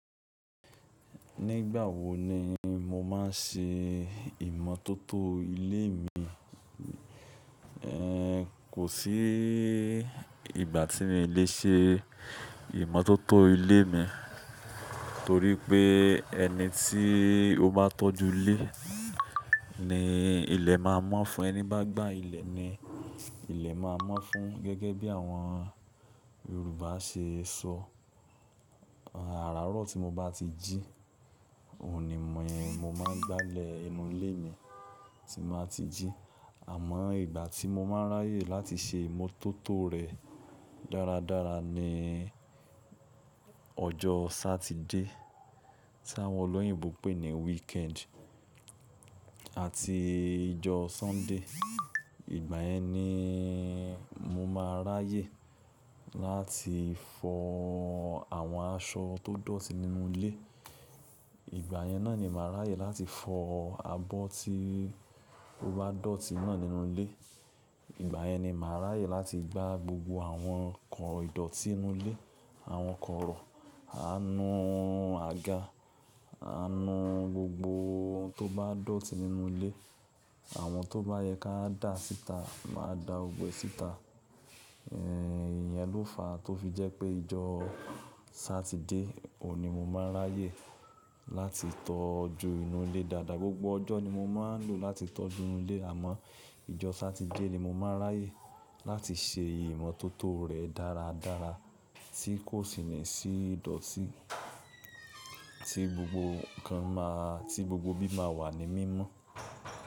Nígbà wo ni mo máa ń ṣe ìmọ́tótó ilé mi? Kò sí ìgbà tí mi lè ṣe ìmọ́tótó ilé mi, torí pé ẹni tí ó bá tọ́jú ilé ni ilẹ̀ máa mọ́ fún. Ẹni bá gbá ilẹ̀ ni ilẹ̀ máa mọ́ fún. Gẹ́gẹ́ bí àwọn Yorùbá ṣe sọ, "Àràárọ̀ tí mo bá ti jí, òun ni mo máa ń gbálẹ̀ inú ilé mi tí mo bá ti jí." Àmọ́ ìgbà tí mo máa ń ráyè láti ṣe ìmọ́tótó rẹ̀ dára dára ni ọjọ́ Sátidé tí àwọn olóyìnbo pè ní weekend àti ijọ́ Sọ́ńdè. Ìgbà yẹn ni mo máa ń ráyè láti fọ àwọn aṣọ tó dọ̀tí nínú ilé. Ìgbà yẹn náà ni màá ràyè láti fọ abọ́ tí ó bá dọ̀tí náà nínú ilé. Ìgbà yẹn ni màá ràyè láti gbá gbogbo àwọn nkàn ìdọ̀tí inú ilé, àwọn kọ̀rọ̀, à ń nu àga, à ń nu gbogbo ohun tó bá dọ̀tí nínú ilé. Àwọn tó bá yẹ ká dà síta, màá dà gbogbo e síta. Ìyẹn ló fa tó fi jẹ́ pé ìjọ Sátidé òun ni mo máa ń ráyè láti tọ́jú inú ilé dáadáa. Gbogbo ọjọ́ ni mo máa ń lò láti tọ́jú ilé, àmọ́ ìjọ Sátidé ni mo máa ń ráyè láti ṣe ìmọ́tótó rẹ̀ dára dára tí kò sì ní sí ìdọ̀tí, tí gbogbo nǹkan máa tí gbogbo bí máa wà ní mímọ́